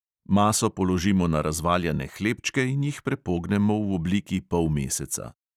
Maso položimo na razvaljane hlebčke in jih prepognemo v obliki polmeseca.